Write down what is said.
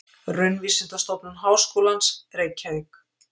Raunvísindastofnun Háskólans, Reykjavík.